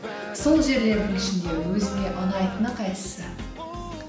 сол жерлердің ішінде өзіңе ұнайтыны қайсысы